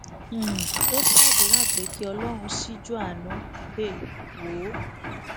um ó sàdúrà pé kí ọlọrun ṣíjú àánú um wò ó